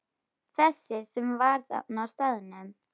Þessi sem var þarna á staðnum?